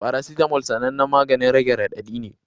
Paracetamol sanannen maganin rage radadi ne